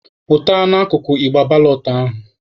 Pụta n'akụkụ igbe balọt ahụ!